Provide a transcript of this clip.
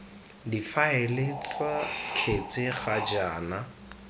difaele ts kgetse ga jaana